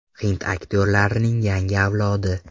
Hind aktyorlarining yangi avlodi.